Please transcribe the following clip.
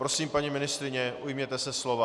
Prosím, paní ministryně, ujměte se slova.